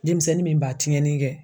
Denmisɛnnin min b'a tiɲɛni kɛ